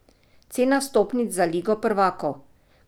Cena vstopnic za ligo prvakov?